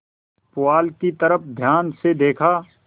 पुआल की तरफ ध्यान से देखा